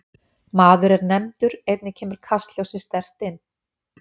Maður er nefndur einnig kemur kastljósið sterkt inn